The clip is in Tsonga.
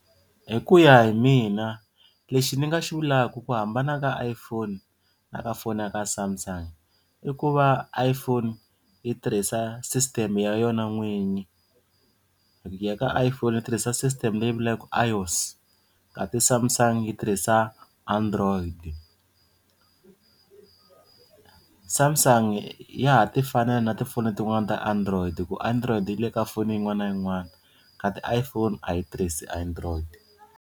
Hi ku ya hi mina lexi ni nga xi vulaku ku hambana ka iPhone na ka foni ya ka Samsung i ku va iPhone yi tirhisa system ya yona n'winyi loko hi ya ka iPhone va tirhisa system leyi vulaka iOS kati Samsung yi tirhisa Android. Samsung ya ha ti fanela na tifoni letiwani ta Android hi ku Android yi le ka foni yin'wana na yin'wana kati iPhone a yi tirhisi Android.